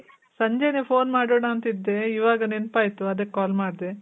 ಸಂಜೆನೆ phone ಮಾಡೋಣ ಅಂತ್ ಇದ್ದೆ. ಇವಾಗ ನೆನಪಾಯ್ತು. ಅದಕ್ call ಮಾಡ್ದೆ.